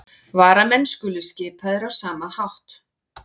Varamenn skulu skipaðir á sama hátt